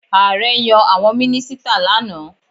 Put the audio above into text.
Ààrẹ yan àwọn mínísítà lánàá.